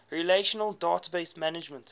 relational database management